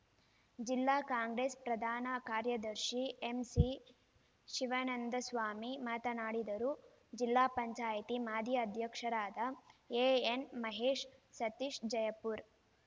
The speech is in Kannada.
ಜಿಲ್ಲಾ ಕಾಂಗ್ರೆಸ್‌ ಪ್ರಧಾನ ಕಾರ್ಯದರ್ಶಿ ಎಂಸಿ ಶಿವಾನಂದಸ್ವಾಮಿ ಮಾತನಾಡಿದರುಜಿಲ್ಲಾ ಪಂಚಾಯತಿ ಮಾಜಿ ಅಧ್ಯಕ್ಷರಾದ ಎಎನ್‌ಮಹೇಶ್‌ ಸತೀಶ್‌ ಜಯಪುರ